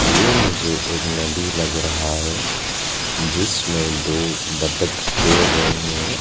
ये मुझे एक नदी लग रहा है जिसमें दो बत्तख तैर रहे हैं।